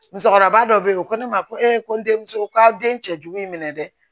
Musokɔrɔba dɔ be yen o ko ne ma ko ee ko n denmuso k'a den cɛ jugu y'i minɛ dɛ